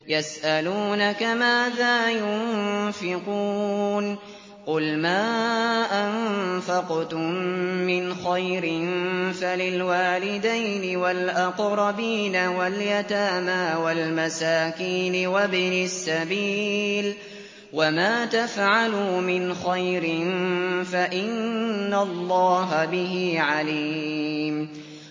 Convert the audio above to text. يَسْأَلُونَكَ مَاذَا يُنفِقُونَ ۖ قُلْ مَا أَنفَقْتُم مِّنْ خَيْرٍ فَلِلْوَالِدَيْنِ وَالْأَقْرَبِينَ وَالْيَتَامَىٰ وَالْمَسَاكِينِ وَابْنِ السَّبِيلِ ۗ وَمَا تَفْعَلُوا مِنْ خَيْرٍ فَإِنَّ اللَّهَ بِهِ عَلِيمٌ